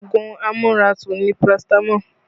Ogun amu ara tú ni paratamo